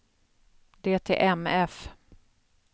DTMF